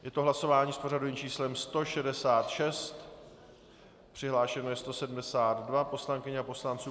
Je to hlasování s pořadovým číslem 166, přihlášeno je 172 poslankyň a poslanců.